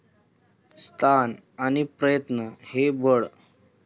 स्थान आणि प्रयत्न हे बळ.